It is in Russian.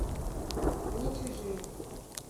не чужие